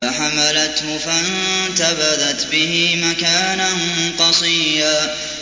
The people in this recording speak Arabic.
۞ فَحَمَلَتْهُ فَانتَبَذَتْ بِهِ مَكَانًا قَصِيًّا